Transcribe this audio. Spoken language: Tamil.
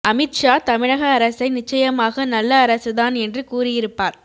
அமித்ஷா தமிழக அரசை நிச்சயமாக நல்ல அரசு தான் என்று கூறியிருப்பார்